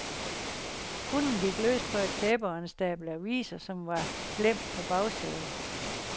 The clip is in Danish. Hunden gik løs på et tæppe og en stabel aviser, som var glemt på bagsædet.